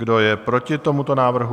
Kdo je proti tomuto návrhu?